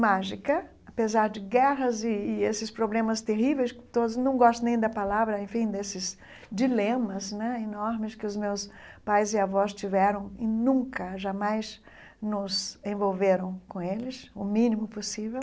mágica, apesar de guerras e e esses problemas terríveis, todos não gosto nem da palavra, enfim, desses dilemas né enormes que os meus pais e avós tiveram e nunca, jamais nos envolveram com eles, o mínimo possível.